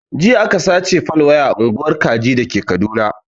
Jiya aka sace fal waya a unguwar kaji dake kaduna